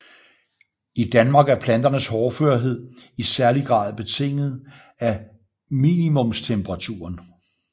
I Danmark er planternes hårdførhed i særlig grad betinget af minimumstemperaturen